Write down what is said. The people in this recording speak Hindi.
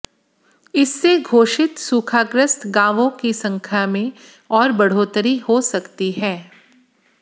इससे घोषित सूखाग्रस्त गांवों की संख्या में और बढ़ोतरी हो सकती है